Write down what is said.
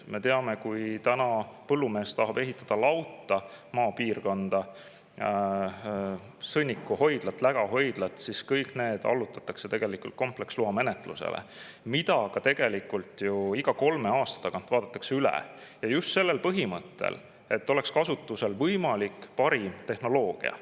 Me teame, et kui põllumees tahab ehitada maapiirkonda lauta, sõnnikuhoidlat või lägahoidlat, siis kõik need allutatakse kompleksloa menetlusele ja iga kolme aasta tagant vaadatakse see üle just sellel põhimõttel, et oleks kasutusel parim võimalik tehnoloogia.